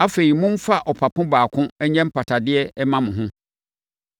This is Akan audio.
Afei, momfa ɔpapo baako nyɛ mpatadeɛ mma mo ho.